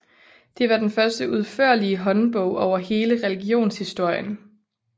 Det var den første udførlige håndbog over hele religionshistorien